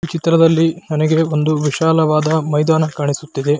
ಈ ಚಿತ್ರದಲ್ಲಿ ನನಗೆ ಒಂದು ವಿಶಾಲವಾದ ಮೈದಾನ ಕಾಣಿಸುತ್ತಿದೆ.